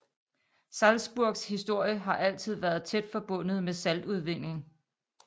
Salzburgs historie har altid været tæt forbundet med saltudvinding